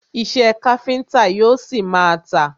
Iṣẹ́ káfíńńtà yóò ṣi má a tà.